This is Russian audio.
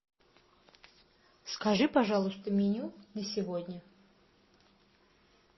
скажи пожалуйста меню на сегодня